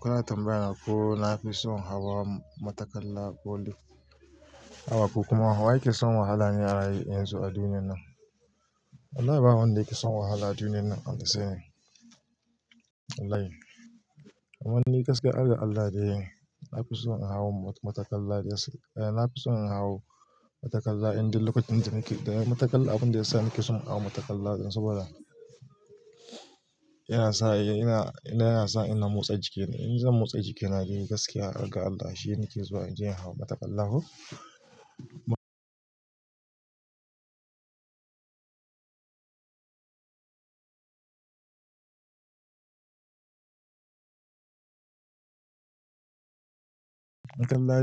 Kuna tambaya ko na fi son hawa matakala ko lift. Haba ku kuma wa yake son wahala ne a yanzu a duniyan nan? Wallahi ba wanda yake son wahala a duniyan nan Allah tsare. Wallahi. Amma ni gaskiya, harga Allah dai, na fi son in hau matakalla, na fi son in hau matakalla inde lokacin da nake, matakalla abun da yasa nake son in hau matakalla ɗin saboda, yana sa ina motsa jikine. In zan motsa jikina dai gaskiya harga Allah shi nake zuwa in je in hau matakalla ko. Matakalla